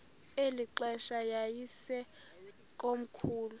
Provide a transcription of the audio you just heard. eli xesha yayisekomkhulu